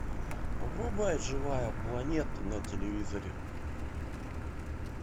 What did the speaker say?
врубай живая планета на телевизоре